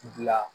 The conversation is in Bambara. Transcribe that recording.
Dilan